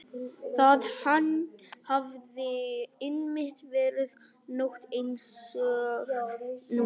Það hafði einmitt verið nótt einsog núna.